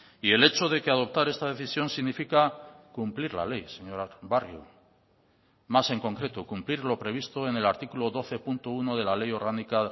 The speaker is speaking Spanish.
y el hecho de que adoptar esta decisión significa cumplir la ley señor barrio más en concreto cumplir lo previsto en el artículo doce punto uno de la ley orgánica